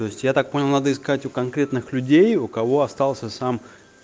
то есть я так понял надо искать у конкретных людей у кого остался сам